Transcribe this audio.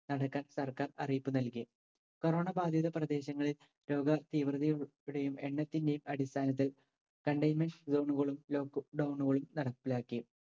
നടക്കാൻ സർക്കാർ അറിയിപ്പ് നൽകി corona ബാധിത പ്രദേശങ്ങളിൽ രോഗ തീവ്രതയോടെയും എണ്ണത്തിന്റെയും അടിസ്ഥാനത്തിൽ containment zone കളും lock down കളും നടപ്പിലാക്കി.